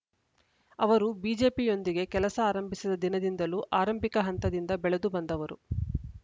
ಅವರು ಬಿಜೆಪಿಯೊಂದಿಗೆ ಕೆಲಸ ಆರಂಭಿಸಿದ ದಿನದಿಂದಲೂ ಆರಂಭಿಕ ಹಂತದಿಂದ ಬೆಳೆದು ಬಂದವರು